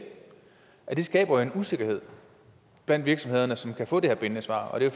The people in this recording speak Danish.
det skaber jo en usikkerhed blandt virksomhederne som kan få det her bindende svar og det